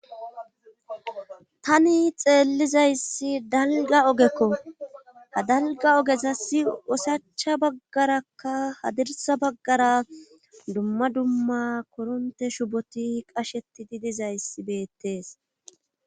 Tani xeellizayssi dalga ogekko hadalga ogesasi wosacha baggarakka hadirsa baggara dumma dumma koronte shuboti qashetidi dizayssi beettees.